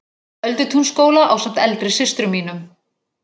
Öldutúnsskóla ásamt eldri systrum mínum.